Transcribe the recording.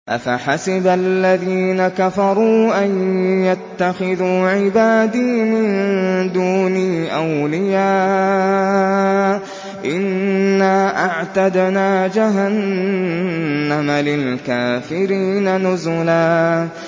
أَفَحَسِبَ الَّذِينَ كَفَرُوا أَن يَتَّخِذُوا عِبَادِي مِن دُونِي أَوْلِيَاءَ ۚ إِنَّا أَعْتَدْنَا جَهَنَّمَ لِلْكَافِرِينَ نُزُلًا